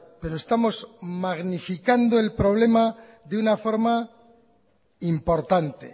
pero estamos magnificando el problema de una forma importante